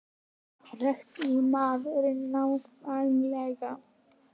Fréttamaður: Nákvæmlega?